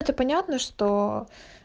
это понятно что